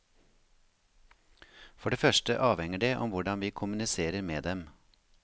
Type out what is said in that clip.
For det første avhenger det om hvordan vi kommuniserer med dem.